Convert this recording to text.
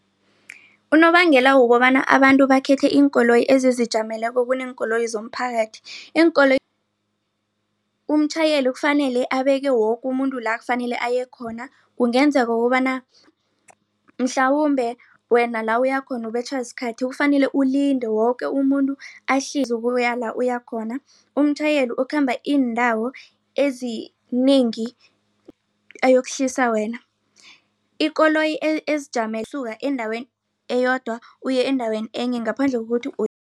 Unobangela wokobana abantu bakhethe iinkoloyi ezizijameleko kuneenkoloyi zomphakathi umtjhayeli kufanele abeke woke umuntu la kufanele ayekhona kungenzeka ukobana mhlawumbe wena la uyakhona ukubetjhwa sikhathi kufanele ulinde woke umuntu ahlike ukuya la uyakhona. Umtjhayeli ukhamba iindawo ezinengi ayokuhlisa wena ikoloyi usuka endaweni eyodwa uye endaweni enye ngaphandle kokuthi